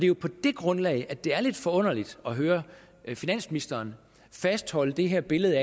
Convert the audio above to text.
jo på det grundlag at det er lidt forunderligt at høre finansministeren fastholde det her billede